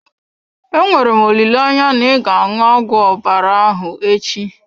Enwere m olileanya na ị ga-aṅụ ọgwụ ahụ ọbara ahụ echi?